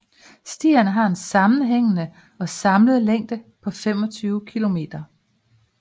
Stierne har en sammenhængende og samlet længde på 25 kilometer